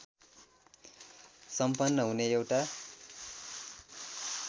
सम्पन्न हुने एउटा